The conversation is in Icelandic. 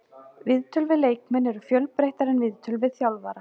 Viðtöl við leikmenn eru fjölbreyttari en viðtöl við þjálfara.